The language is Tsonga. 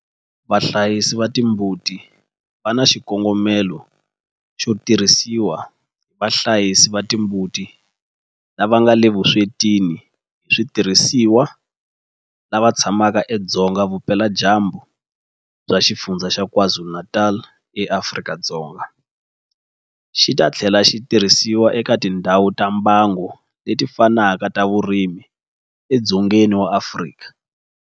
Vahlayisi va timbuti xi nga na xikongomelo xo tirhisiwa hi vahlayisi va timbuti lava nga le vuswetini hi switirhisiwa lava tshamaka edzonga vupeladyambu bya Xifundzha xa KwaZulu-Natal eAfrika-Dzonga, xi ta tlhela xi tirhisiwa eka tindhawu ta mbango leti fanaka ta vurimi edzongeni wa Afrika.